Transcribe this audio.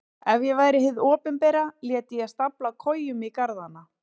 Ef ég væri hið opinbera léti ég stafla kojum í garðana.